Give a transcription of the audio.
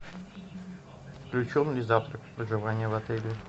включен ли завтрак в проживание в отеле